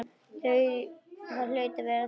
Það hlaut að vera þannig.